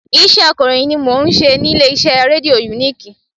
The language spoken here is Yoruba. Iṣẹ́ akọ̀ròyìn ni mo n ṣe ní ilé iṣẹ́ rédíò uniki